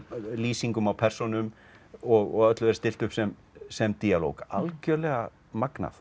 lýsingum á persónum og öllu er stillt upp sem sem díalóg algjörlega magnað